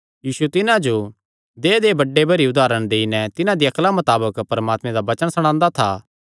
यीशु तिन्हां जो देहय्देहय् बड़े भरी उदारण देई नैं तिन्हां दी अक्ला मताबक परमात्मे दा वचन सणांदा था